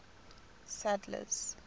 sadler's